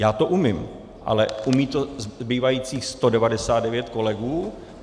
Já to umím, ale umí to zbývajících 199 kolegů?